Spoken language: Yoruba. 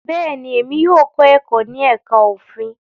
Bẹ́ẹ̀ni, emi yóò kọ ẹkọ ni ẹka ofin